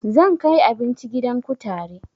Zan kai abinci gidan kutare